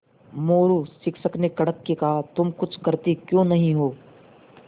मोरू शिक्षक ने कड़क के कहा तुम कुछ करते क्यों नहीं हो